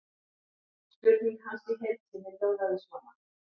Spurning hans í heild sinni hljóðaði svona: